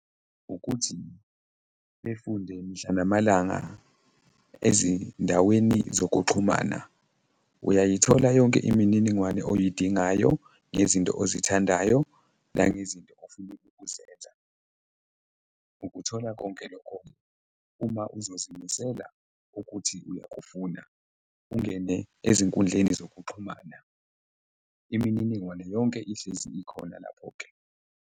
Ukuthi befunde mihla namalanga ezindaweni zokuxhumana, uyayithola yonke imininingwane oyidingayo ngezinto ozithandayo nangezinto ofuna ukuzenza. Ukuthola konke lokho-ke uma uzozimisela ukuthi uyakufuna, ungene ezinkundleni zokuxhumana, imininingwane yonke ihlezi ikhona lapho-ke.